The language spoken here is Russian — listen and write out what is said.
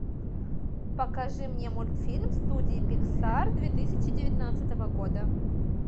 покажи мне мультфильм студии пиксар две тысячи девятнадцатого года